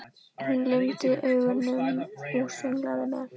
Hún lygndi augunum og sönglaði með.